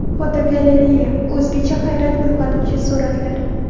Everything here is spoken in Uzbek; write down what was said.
Fotogalereya: O‘zgacha hayrat uyg‘otuvchi suratlar.